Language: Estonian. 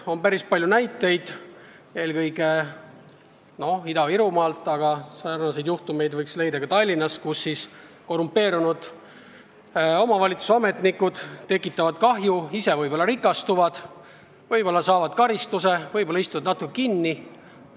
On päris palju näiteid eelkõige Ida-Virumaalt, aga neid juhtumeid võib leida ka Tallinnast, kus omavalitsuse korrumpeerunud ametnikud tekitavad kahju, võib-olla rikastuvad ja ehk saavad ka karistuse, võib-olla istuvad natuke kinni.